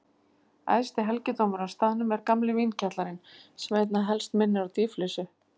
Æðsti helgidómur á staðnum er gamli vínkjallarinn, sem einna helst minnir á dýflissu.